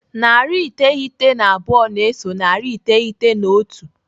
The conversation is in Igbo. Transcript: Narị iteghete na abụọ na-eso narị iteghete na otu.